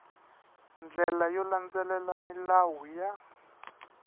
ndlela yo landzelela milawu ya